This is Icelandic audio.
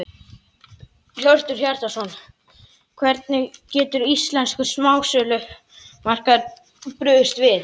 Hjörtur Hjartarson: Hvernig getur íslenskur smásölumarkaður brugðist við?